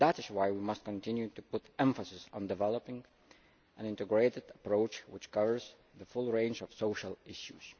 That is why we must continue to put emphasis on developing an integrated approach which covers the full range of social issues.